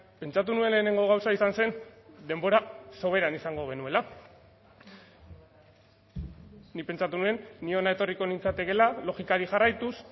pentsatu nuen lehenengo gauza izan zen denbora soberan izango genuela nik pentsatu nuen ni hona etorriko nintzatekeela logikari jarraituz